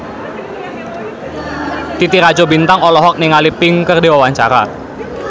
Titi Rajo Bintang olohok ningali Pink keur diwawancara